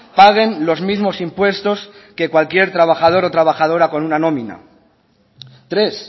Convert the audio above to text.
paguen los mismos impuestos que cualquier trabajador o trabajadora con una nómina tres